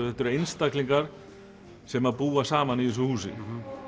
þetta eru einstaklingar sem búa saman í þessu húsi